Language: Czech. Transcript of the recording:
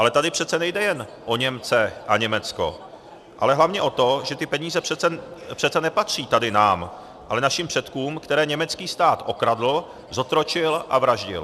Ale tady přece nejde jen o Němce a Německo, ale hlavně o to, že ty peníze přece nepatří tady nám, ale našim předkům, které německý stát okradl, zotročil a vraždil.